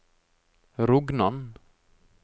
Rognan